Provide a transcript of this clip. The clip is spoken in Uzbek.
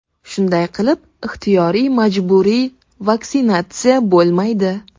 Shunday qilib, ixtiyoriy-majburiy vaksinatsiya bo‘lmaydi.